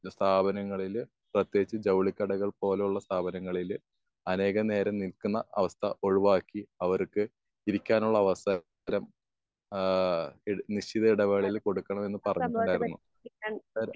സ്ഥാപനങ്ങളില് പ്രതേകിച്ചും ജൗളി കടകൾ പോലെയുള്ള സ്ഥാപനങ്ങളിൽ അനേകം നേരം നിൽക്കുന്ന അവസ്ഥ ഒഴിവാക്കി അവർക്ക് ഇരിക്കാനുള്ള അവസരം ഏഹ് നിശ്ചിത ഇടപാടിൽ കൊടുക്കണം എന്ന് പറഞ്ഞിട്ടുണ്ടായിരുന്നു. ഏഹ്